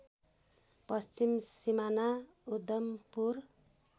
पश्चिम सिमाना उद्धम्पुर